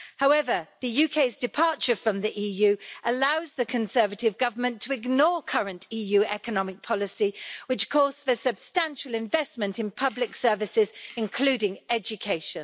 However, the UK's departure from the EU allows the Conservative government to ignore current EU economic policy, which calls for substantial investment in public services including education.